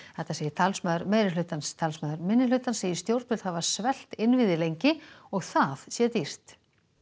þetta segir talsmaður meirihlutans talsmaður minnihlutans segir stjórnvöld hafa svelt innviði lengi og það sé dýrt